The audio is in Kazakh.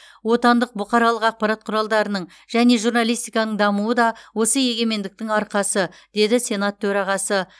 отандық бұқаралық ақпарат құралдарының және журналистиканың дамуы да осы егемендіктің арқасы деді сенат төрағасы